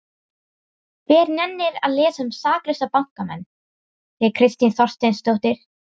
Hver nennir að lesa um saklausa bankamenn? segir Kristín Þorsteinsdóttir.